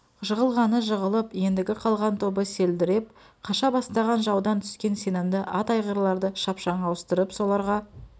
жығылғаны жығылып ендігі қалған тобы селдіреп қаша бастаған жаудан түскен сенімді ат айғырларды шапшаң ауыстырып соларға